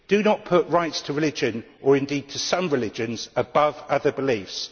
Do not put rights to religion, or indeed to some religions, above other beliefs.